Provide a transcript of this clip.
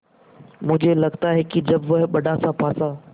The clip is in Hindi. मुझे लगता है कि जब वह बड़ासा पासा